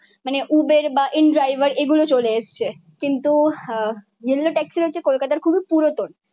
মানে উবের বা in driver এগুলো চলে এসছে। কিন্তু আহ ইয়েলো ট্যাক্সি হচ্ছে কলকাতার খুবই পুরাতন।